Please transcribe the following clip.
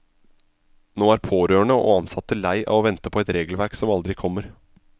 Nå er pårørende og ansatte lei av å vente på et regelverk som aldri kommer.